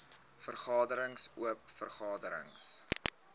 vergaderings oop vergaderings